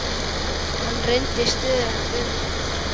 Hann reyndi stöðugt við mig.